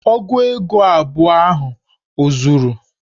Ogu ego abụọ ahụ o zuru?